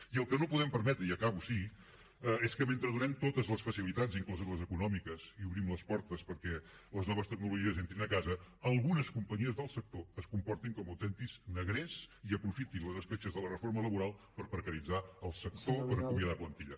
i el que no podem permetre i acabo sí és que mentre donem totes les facilitats incloses les econòmiques i obrim les portes perquè les noves tecnologies entrin a casa algunes companyies del sector es comportin com autèntics negrers i aprofitin les escletxes de la reforma laboral per precaritzar el sector per acomiadar plantilla